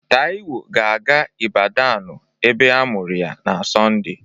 Taiwo ga-aga Ibadanụ ebe a mụrụ ya na Sonde.